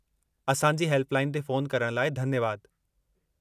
असांजी हेल्पलाइन ते फ़ोन करणु लाइ धन्यवादु।